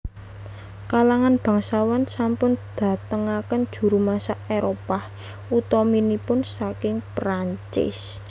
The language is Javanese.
Kalangan bangsawan sampun datangaken juru masak Éropah utaminipun saking Perancis